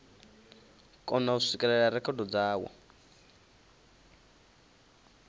kona u swikelela rekhodo dzawo